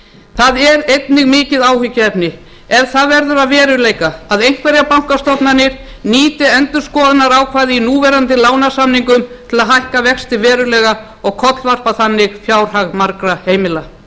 það er einnig mikið áhyggjuefni ef það verður að veruleika að einhverjar bankastofnanir nýti endurskoðunarákvæði í núverandi lánasamningum til að hækka vexti verulega og kollvarpa þannig fjárhag margra heimila